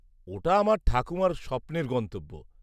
-ওটা আমার ঠাকুমার স্বপ্নের গন্তব্য।